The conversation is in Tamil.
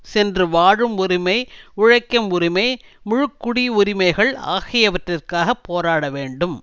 சென்று வாழும் உரிமை உழைக்கும் உரிமை முழு குடியுரிமைகள் ஆகியவற்றிற்காக போராட வேண்டும்